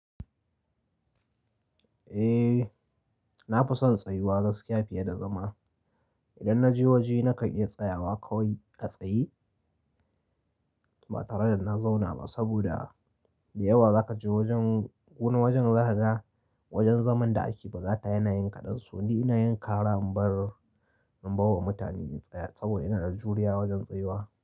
Eh nafi son tsayuwa gaskiya fiye da zama. Idan na je waje na kan iya tsayawa kawai a tsaye ba tare da na zauna ba saboda da yawa zaka je wajen wani wajen zaka ga wajen zaman da ake ba za ta yanayin kaɗan. So ni ina yin kara in bar, in bar wa mutane in tsaya saboda ina da juriya wajen tsayuwa.